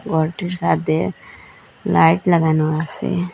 ঘরটির সাদে লাইট লাগানো আসে।